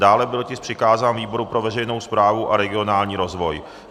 Dále byl tisk přikázán výboru pro veřejnou správu a regionální rozvoj.